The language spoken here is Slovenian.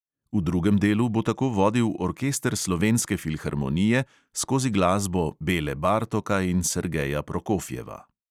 V drugem delu bo tako vodil orkester slovenske filharmonije skozi glasbo bele bartoka in sergeja prokofjeva.